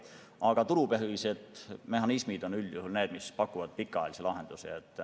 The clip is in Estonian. Aga turupõhised mehhanismid on üldjuhul need, mis pakuvad pikaajalisi lahendusi.